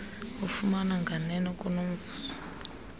ufumana nganeno kunomvuzo